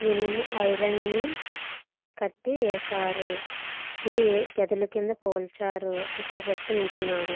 ఇనుము ఐరన్ కటివేశారు. ఇది గదులు క్రింద పోలుచారు. ఇక్కడ ఒక వ్వక్తి నించున్నాడు.